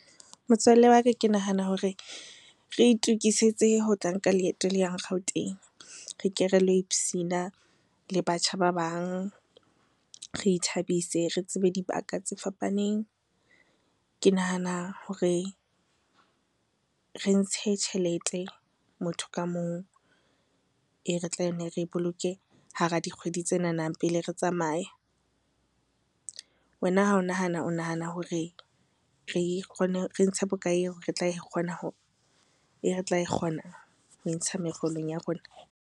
Motswalle wa ka ke nahana hore re itokisetse ho tla nka leeto le yang Gauteng. Re ke relo ipsina le batjha ba bang, re ithabise, re tsebe dibaka tse fapaneng. Ke nahana hore re ntshe tjhelete motho ka mong e re tla nne re e boloke hara dikgwedi tsenana pele re tsamaya. Wena ha o nahana, o nahana hore re ntshe bokae e re tla kgona ho e ntsha mekgolong ya rona.